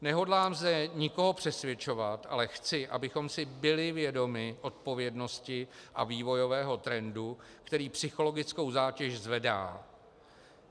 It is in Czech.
Nehodlám zde nikoho přesvědčovat, ale chci, abychom si byli vědomi odpovědnosti a vývojového trendu, který psychologickou zátěž zvedá.